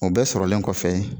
O bɛɛ sɔrɔlen kɔfɛ